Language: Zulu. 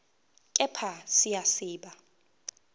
kepha siya siba